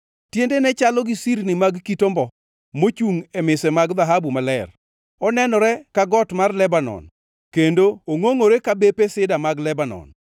Tiendene chalo gi sirni mag kit ombo mochungʼ e mise mag dhahabu maler. Onenore ka got mar Lebanon, kendo ongʼongʼore ka bepe sida mag Lebanon.